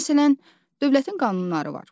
Məsələn, dövlətin qanunları var.